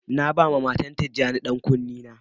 Na ba ma matan tijani yan kuni na.